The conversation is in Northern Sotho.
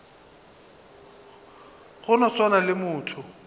go no swana le motho